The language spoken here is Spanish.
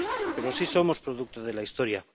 Pero sí somos producto de la historia.